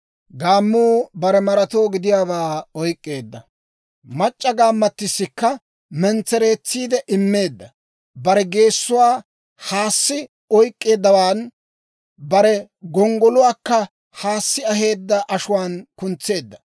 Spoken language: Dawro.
Gaammuu bare maratoo gidiyaabaa oyk'k'eedda; mac'c'a gaammattissikka mentsereetsiide immeedda. Bare geessuwaa haassi oyk'k'eeddawan, bare gonggoluwaakka haassi aheedda ashuwaan kuntseedda.